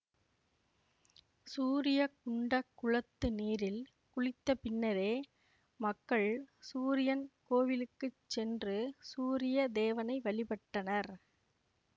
சூரிய குண்ட குளத்து நீரில் குளித்த பின்னரே மக்கள் சூரியன் கோயிலுக்கு சென்று சூரிய தேவனை வழிபட்டனர்